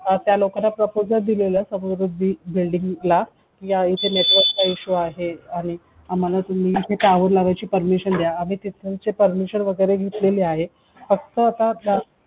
त्या लोकांना proposal दिलेला आहे समृद्धी building ला या विषयी इथे network चा issue आहे आणि आम्हाला तुम्ही इथे tower लावण्याची permission द्या आणि आम्ही त्यांची permission वगैरे घेतलेली आहे फक्त आता त्या